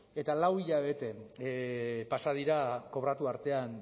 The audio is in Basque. eta lau hilabete pasa dira kobratu artean